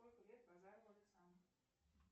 сколько лет базарову александру